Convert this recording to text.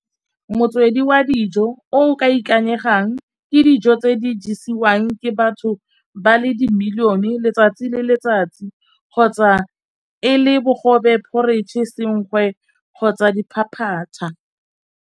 Motswedi wa dijo o ka ikanyegang ke dijo tse di ja isiwang ke batho ba le di-million letsatsi le letsatsi kgotsa e le bogobe, porridge, senkgwe kgotsa diphaphatha.